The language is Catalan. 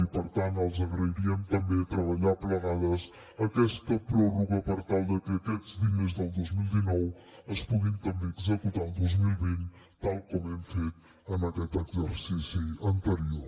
i per tant els agrairíem també treballar plegades aquesta pròrroga per tal de que aquests diners del dos mil dinou es puguin també executar el dos mil vint tal com hem fet en aquest exercici anterior